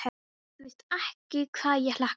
Þú veist ekki hvað ég hlakka til.